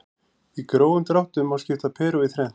Í grófum dráttum má skipta Perú í þrennt.